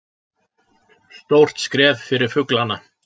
Stórt skref fyrir fuglana